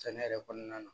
Sɛnɛ yɛrɛ kɔnɔna na